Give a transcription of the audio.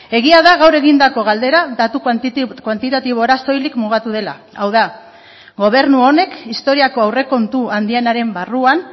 egia da gaur egindako galdera datu kuantitatibora soilik mugatu dela hau da gobernu honek historiako aurrekontu handienaren barruan